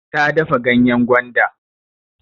Ta dafa ganyen gwanda.